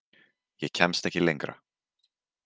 Ég kemst ekki lengra.